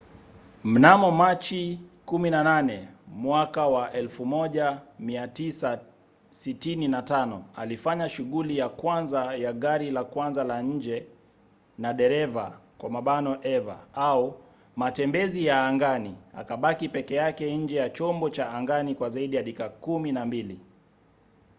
mnamo machi 18 1965 alifanya shughuli ya kwanza ya gari la kwanza la nje lililo na dereva eva au matembezi ya angani akabaki peke yake nje ya chombo cha angani kwa zaidi ya dakika kumi na mbili